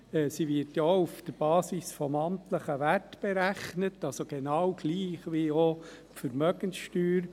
Diese wird auf Basis des amtlichen Werts berechnet, also genau gleich wie die Vermögenssteuer.